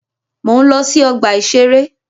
Mò ń lọ sí ọgbà-ìṣeré